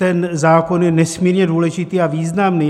Ten zákon je nesmírně důležitý a významný.